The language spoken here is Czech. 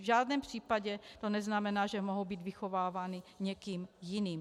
V žádném případě to neznamená, že mohou být vychovávány někým jiným.